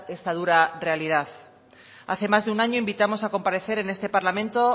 esta dura realidad hace más de un año invitamos a comparecer en este parlamento